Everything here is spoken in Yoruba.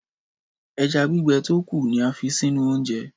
Ẹja gbígbẹ tó kù ni a fi sínú oúnjẹ.